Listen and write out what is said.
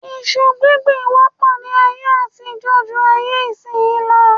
Iṣu gbíngbì wọ́pọ̀ ní ayé àtijọ́ ju ayé ìsin yìí lọ